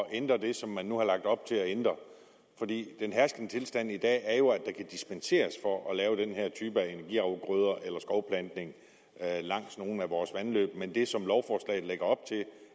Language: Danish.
at ændre det som man nu har lagt op til at ændre den herskende tilstand i dag er jo at der kan dispenseres for at lave den her type af energiafgrøder eller skovplantning langs nogle af vores vandløb men det som lovforslaget lægger op til